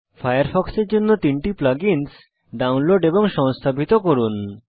ফায়ারফক্সের জন্য তিনটি plug ins download এবং সংস্থাপিত করুন